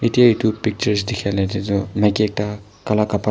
etia eto pictures tekia lagateto maiki ekta kala kapara.